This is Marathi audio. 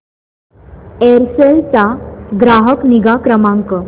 एअरसेल चा ग्राहक निगा क्रमांक